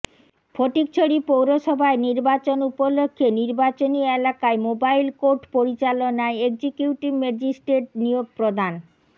ফটিকছড়ি পৌরসভায় নির্বাচন উপলক্ষে নির্বাচনী এলাকায় মোবাইল কোর্ট পরিচালনায় এক্সিকিউটিভ ম্যাজিস্ট্রেট নিয়োগ প্রদান